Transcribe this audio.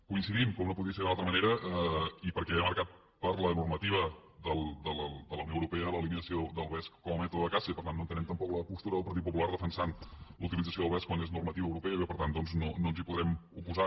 coincidim com no podia ser d’una altra manera i perquè ve marcat per la normativa de unió europea en l’eliminació del vesc com a mètode de caça i per tant no entenem tampoc la postura del partit popular de defensar la utilització del vesc quan és normativa europea i que per tant doncs no ens hi podrem oposar